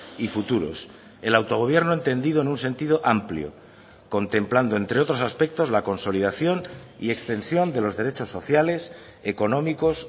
y futuros el autogobierno entendido en un sentido amplio contemplando entre otros aspectos la consolidación y extensión de los derechos sociales económicos